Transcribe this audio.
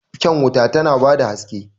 Kwan wuta tana ba da haske.